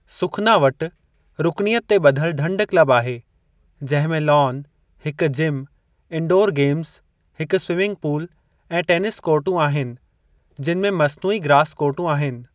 सुखना वटि रुकनीयत ते ॿधलु ढंढ क्लब आहे, जंहिं में लॉन, हिकु जिम, इंडोर गेम्ज़, हिकु स्वीमिंग पूल, ऐं टेनिस कोर्टूं आहिनि जिनि में मस्नूई ऐं ग्रास कोर्टूं आहिनि।